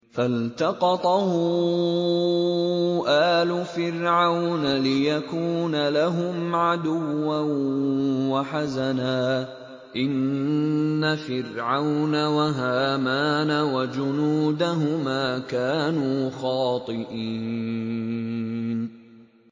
فَالْتَقَطَهُ آلُ فِرْعَوْنَ لِيَكُونَ لَهُمْ عَدُوًّا وَحَزَنًا ۗ إِنَّ فِرْعَوْنَ وَهَامَانَ وَجُنُودَهُمَا كَانُوا خَاطِئِينَ